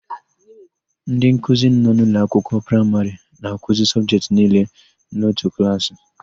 Ndịnkuzi nọ n'ụlọakwụkwọ praịmarị na-akuzi sọbjetị niile n'otu klaasị.